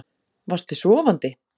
Varst þú sofandi?